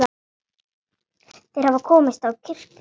Þeir hafa komist á kirkju!